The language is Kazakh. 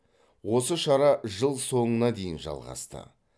осы шара жыл соңына дейін жалғасты